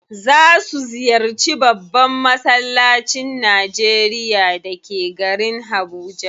Za su ziyarci babban massalacin Najeria da ke garin Habuja.